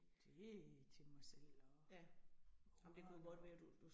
Det til mig selv og ungerne og